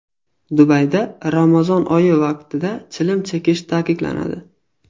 Dubayda Ramazon oyi vaqtida chilim chekish taqiqlanadi.